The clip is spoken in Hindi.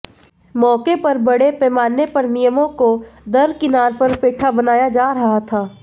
मौके पर बड़े पैमाने पर नियमों को दरकिनार कर पेठा बनाया जा रहा था